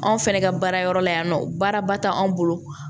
Anw fɛnɛ ka baara yɔrɔ la yan nɔ baaraba tɛ anw bolo